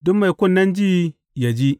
Duk mai kunnen ji, yă ji.